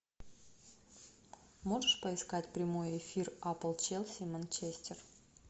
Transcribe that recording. можешь поискать прямой эфир апл челси манчестер